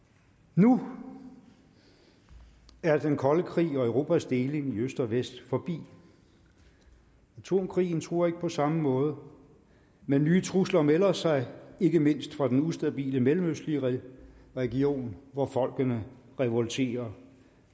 nu er den kolde krig og europas deling i øst og vest forbi atomkrigen truer ikke på samme måde men nye trusler melder sig ikke mindst fra den ustabile mellemøstlige region hvor folkene revolterer